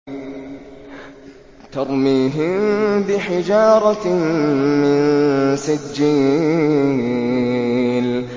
تَرْمِيهِم بِحِجَارَةٍ مِّن سِجِّيلٍ